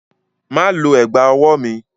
Má lo ẹ̀gbá-ọwọ́ mi!